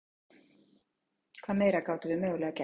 Hvað meira gátum við mögulega gert?